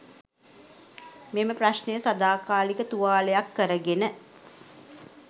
මෙම ප්‍රශ්නය සදාකාලික තුවාලයක් කරගෙන